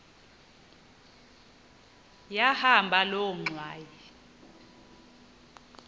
yahamba loo ngxwayi